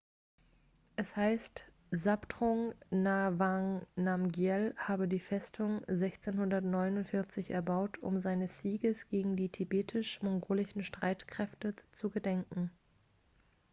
es heißt zhabdrung ngawang namgyel habe die festung 1649 erbaut um seines sieges gegen die tibetisch-mongolischen streitkräfte zu gedenken